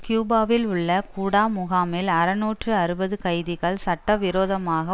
கியூபாவில் உள்ள குடா முகாமில் அறுநூற்று அறுபது கைதிகள் சட்டவிரோதமாக